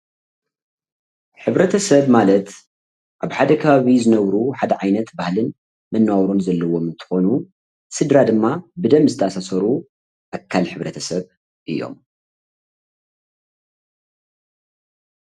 ሕብረተሰብ ማለት ኣብ ሓደ ከባቢ ዝነብሩ ሓደ ዓይነት ባህልን መነባብሮን ዘለዎም እትኮኑ ስድራ ድማ ብደም ዝተኣሳሰሩ ኣካል ሕ/ሰብ እዮም፡፡